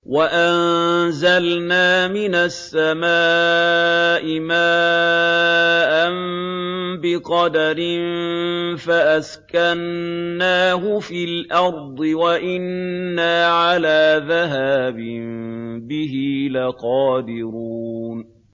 وَأَنزَلْنَا مِنَ السَّمَاءِ مَاءً بِقَدَرٍ فَأَسْكَنَّاهُ فِي الْأَرْضِ ۖ وَإِنَّا عَلَىٰ ذَهَابٍ بِهِ لَقَادِرُونَ